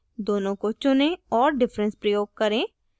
दोनों को चुनें और difference प्रयोग करें